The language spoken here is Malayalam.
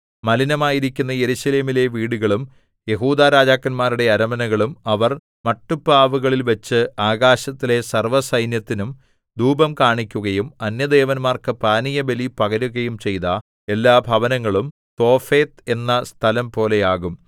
മലിനമായിരിക്കുന്ന യെരൂശലേമിലെ വീടുകളും യെഹൂദാ രാജാക്കന്മാരുടെ അരമനകളും അവർ മട്ടുപ്പാവുകളിൽവച്ച് ആകാശത്തിലെ സർവ്വസൈന്യത്തിനും ധൂപം കാണിക്കുകയും അന്യദേവന്മാർക്ക് പാനീയബലി പകരുകയും ചെയ്ത എല്ലാ ഭവനങ്ങളും തോഫെത്ത് എന്ന സ്ഥലംപോലെയാകും